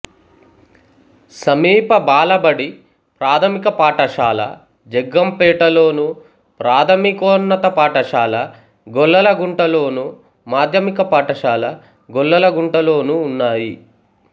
సమీప బాలబడి ప్రాథమిక పాఠశాల జగ్గంపేటలోను ప్రాథమికోన్నత పాఠశాల గొల్లలగుంటలోను మాధ్యమిక పాఠశాల గొల్లలగుంటలోనూ ఉన్నాయి